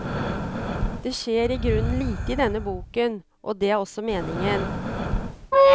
Det skjer i grunnen lite i denne boken, og det er også meningen.